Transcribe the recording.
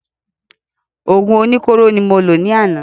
Òògùn oní kóró ni mo lò ní àná